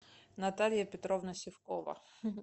наталья петровна сивкова